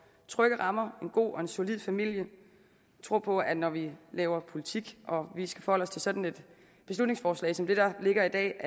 trygge rammer en god og en solid familie vi tror på at når vi laver politik og vi skal forholde os til sådan et beslutningsforslag som det der ligger i dag